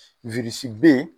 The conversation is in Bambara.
B